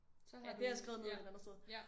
Så har du ja ja